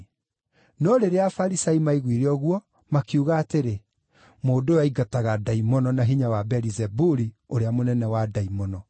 No rĩrĩa Afarisai maaiguire ũguo, makiuga atĩrĩ, “Mũndũ ũyũ aingataga ndaimono na hinya wa Beelizebuli ũrĩa mũnene wa ndaimono.”